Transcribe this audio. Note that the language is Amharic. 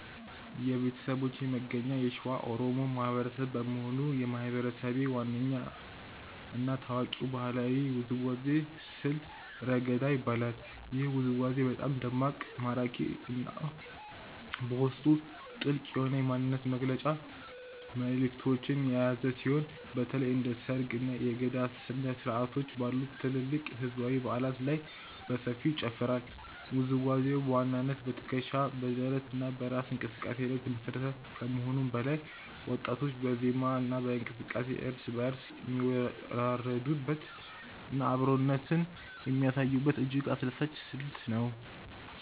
የቤተሰቦቼ መገኛ የሸዋ ኦሮሞ ማህበረሰብ በመሆኑ፣ የማህበረሰቤ ዋነኛ እና ታዋቂው ባህላዊ ውዝዋዜ ስልት "ረገዳ" ይባላል። ይህ ውዝዋዜ በጣም ደማቅ፣ ማራኪ እና በውስጡ ጥልቅ የሆነ የማንነት መግለጫ መልዕክቶችን የያዘ ሲሆን፣ በተለይም እንደ ሰርግ፣ እና የገዳ ስነ-ስርዓቶች ባሉ ትላልቅ ህዝባዊ በዓላት ላይ በሰፊው ይጨፈራል። ውዝዋዜው በዋናነት በትከሻ፣ በደረት እና በእራስ እንቅስቃሴ ላይ የተመሰረተ ከመሆኑም በላይ፣ ወጣቶች በዜማ እና በእንቅስቃሴ እርስ በእርስ የሚወራረዱበት እና አብሮነትን የሚያሳዩበት እጅግ አስደሳች ስልት ነው።